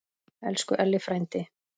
Elsku Elli frændi.